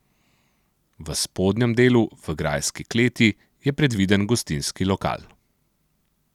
V spodnjem delu, v grajski kleti, je predviden gostinski lokal.